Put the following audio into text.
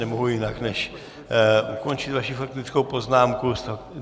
Nemohu jinak, než ukončit vaši faktickou poznámku.